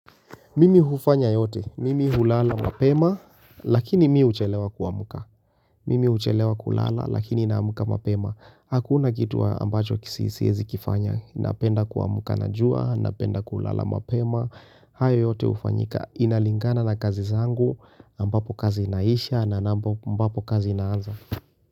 Mimi hufanya yote, mimi hulala mapema, lakini mi huchelewa kuamuka. Mimi huchelewa kulala, lakini naamuka mapema. Hakuna kitu ambacho kisi siyezi kifanya, napenda kuwamuka na jua, napenda kulala mapema. Hayo yote ufanyika, inalingana na kazi zangu, ambapo kazi inaisha na ambapo kazi inaanza.